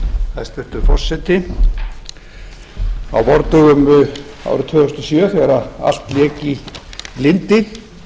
hæstvirtur forseti á vordögum árið tvö þúsund og sjö þegar allt lék